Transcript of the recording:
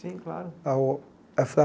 Sim, claro. A o essa